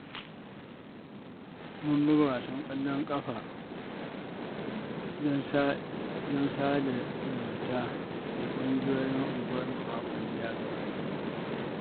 Mun buga wasan ƙwallon ƙafa don sada zumunta da ƙungiyoyin unguwarmu a makon da ya gabata.